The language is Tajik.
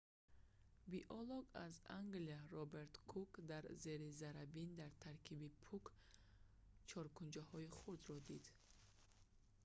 биолог аз англия роберт кук дар зери заррабин дар таркиби пӯк чоркунчаҳои хурдро дид